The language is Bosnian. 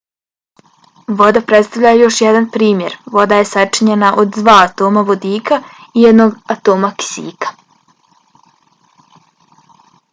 voda predstavlja još jedan primjer. voda je sačinjena od dva atoma vodika i jednog atoma kisika